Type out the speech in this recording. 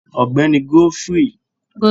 Ọgbẹni Godfrey bori ninu idibo naa.